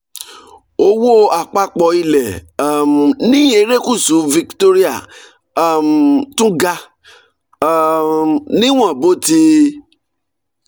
owó àpapọ̀ ilẹ̀ um ní erékùṣù victoria um tún ga um níwọ̀n bó ti